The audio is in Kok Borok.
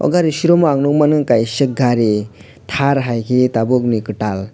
gari showroomo ang nogmano kaisa gari tar hai ke tabok ni katal.